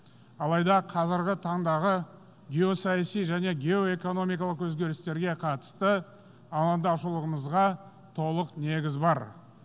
алайда қазіргі таңдағы геосаяси және геоэкономикалық өзгерістерге қатысты алаңдаушылығымызға толық негіз бар